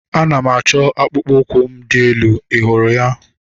Ana m achọ akpụkpọ ụkwụ m dị elu. Ị hụrụ ya?